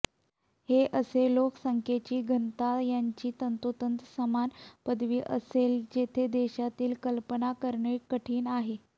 हे असे लोकसंख्येची घनता यांची तंतोतंत समान पदवी असेल जेथे देशातील कल्पना करणे कठीण आहे